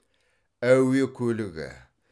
әуе көлігі